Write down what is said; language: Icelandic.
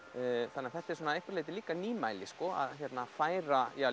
þannig að þetta er að einhverju leyti líka nýmæli að færa